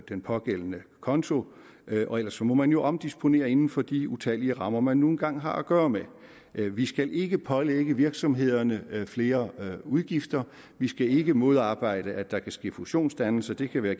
den pågældende konto og ellers må man jo omdisponere inden for de utallige rammer man nu engang har at gøre med vi skal ikke pålægge virksomhederne flere udgifter vi skal ikke modarbejde at der kan ske fusionsdannelser det kan være